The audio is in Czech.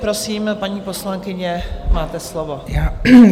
Prosím, paní poslankyně, máte slovo.